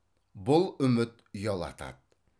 бұл үміт ұялатады